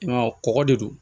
I m'a ye kɔkɔ de don